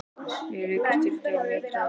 Ég rauk í sturtu á methraða.